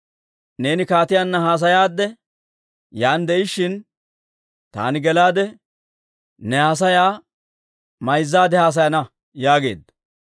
Neeni kaatiyaanna haasayaadde yaan de'ishshin taani gelaade, ne haasayaa mayzzaade haasayana» yaageedda.